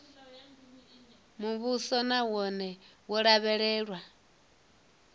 muvhuso na wone wo lavhelewa